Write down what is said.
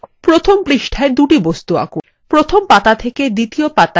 প্রথম পৃষ্ঠায় দুটি বস্তু আঁকুন